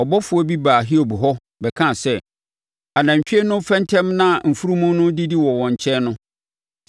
ɔbɔfoɔ bi baa Hiob hɔ, bɛkaa sɛ, “Anantwie no refɛntɛm na mfunumu no redidi wɔ wɔn nkyɛn no,